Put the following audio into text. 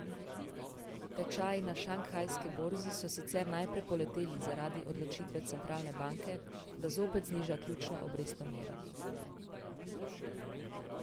Tečaji na šanghajski borzi so sicer najprej poleteli zaradi odločitve centralne banke, da zopet zniža ključno obrestno mero.